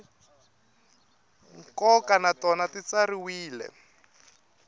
nkoka na tona ti tsariwile